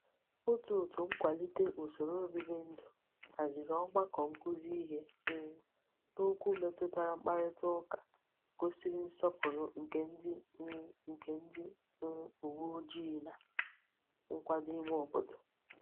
Otu òtû nkwalite usoro obibi ndu haziri ogbako nkuzi ihe um n'okwu metutara mkparita uka gosiri nsopuru nke ndi um nke ndi um uwe ojii na nkwado ime obodo.